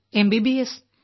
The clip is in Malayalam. എംബിബിഎസ്